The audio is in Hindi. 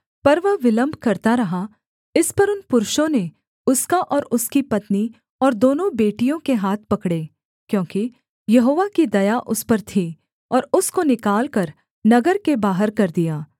पर वह विलम्ब करता रहा इस पर उन पुरुषों ने उसका और उसकी पत्नी और दोनों बेटियों के हाथ पकड़े क्योंकि यहोवा की दया उस पर थी और उसको निकालकर नगर के बाहर कर दिया